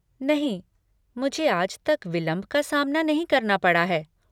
नहीं, मुझे आज तक विलंब का सामना नहीं करना पड़ा है।